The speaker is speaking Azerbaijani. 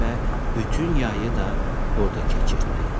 və bütün yayı da burda keçirtdi.